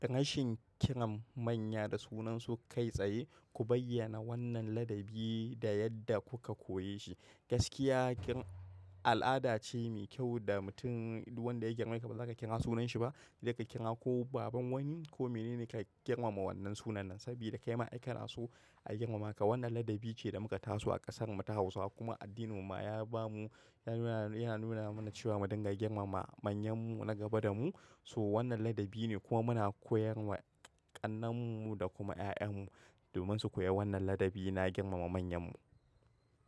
Rashin kiran manya da sunansu kai tsaye. Ku bayyana wannan ladabi da yadda kuka koye shi. Gaskiya al'adace mai kyau da mutum duk wanda ya girmeka bazaka kira sunanshiba. Saika kira ko baban wani ko mene ne ka girmama wannan sunan nasa. Sabida kaima ai kana so a girmama ka. Wannan ladabi ce da muka taso a kasar mu ta Hausawa kuma addininmu ma ya bamu, ya nuna mana cewa mu dinga girmama manyan mu na gaba damu. To, wannan ladabine kuma muna koyarwa ƙannen mu da kuma ƴaƴanmu. Domin su koyi wannan ladabi na girmama manyan mu.